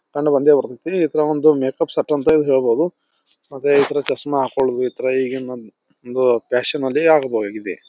ಕಂಡು ಬಂದೇ ಬರ್ತೈತಿ ಇತರ ಇದೊಂದು ಮೇಕಪ್ ಸೆಟ್ ಅಂತ ಹೇಳಬಹುದು ಮತ್ತೆ ಇತರ ಚಸ್ಮಾ ಹಾಕ್ಕೊಳೋದು ಇಗಿನ್ ಒಂದ್ ಫ್ಯಾಷನ್ ಆಗಿ ಇದೆ.